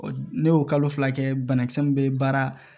Ne y'o kalo fila kɛ banakisɛ min bɛ baara